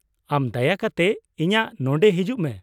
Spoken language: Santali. ᱟᱢ ᱫᱟᱭᱟ ᱠᱟᱛᱮ ᱤᱧᱟᱹᱜ ᱱᱚᱸᱰᱮ ᱦᱤᱡᱩᱜ ᱢᱮ ᱾